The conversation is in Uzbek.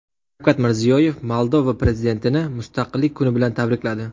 Shavkat Mirziyoyev Moldova prezidentini Mustaqillik kuni bilan tabrikladi.